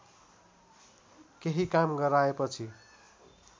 केही काम गराएपछि